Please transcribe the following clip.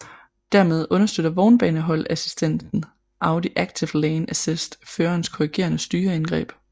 Dermed understøtter vognbaneholdeassistenten Audi active lane assist førerens korrigerende styreindgreb